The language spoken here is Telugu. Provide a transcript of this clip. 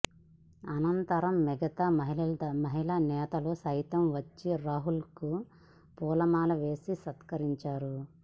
అనంతరం మిగతా మహిళానేతలు సైతం వచ్చి రాహుల్కు పూలమాల వేసి సత్కరించారు